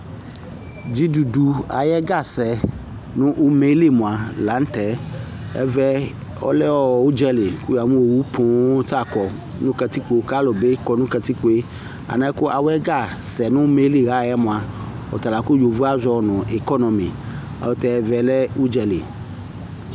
Dzidudu ayɛgasɛ nʋ umeli mʋa la nʋ tɛƐvɛ ,ɔlɛ ʋdzali kʋ ya mʋ owu wa ta kɔ nʋ kǝtikpo kalʋ bɩ kɔ nʋ kǝtikpoeAnɛ kawʋ ɛgasɛ numeli la yɛ mʋa, ɔtala kʋ yovoe azɔ nʋɩkɔnʋmɩ ayɛlʋtɛ ɛvɛ lɛ ʋdzali